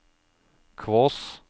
Kvås